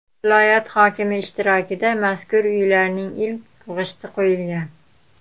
Viloyat hokimi ishtirokida mazkur uylarning ilk g‘ishti qo‘yilgan.